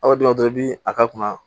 A' bɛ dɔ la dɔrɔn i bɛ a ka kunna